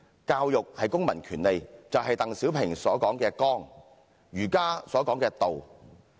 教育是公民權利，就是鄧小平說的綱、儒家說的道。